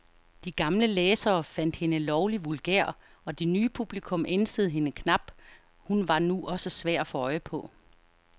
De gamle læsere fandt hende lovlig vulgær, og det nye publikum ænsede hende knap, hun var nu også svær at få øje på.